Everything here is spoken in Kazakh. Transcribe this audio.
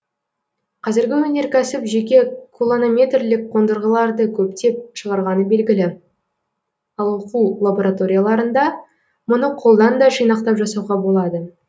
қазіргі өнеркәсіп жеке кулонометрлік қондырғыларды көптеп шығарғаны белгілі ал оқу лабораторияларында мұны қолдан да жинақтап жасауға болады